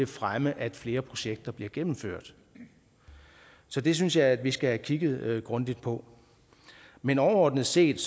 fremme at flere projekter bliver gennemført så det synes jeg vi skal have kigget grundigt på men overordnet set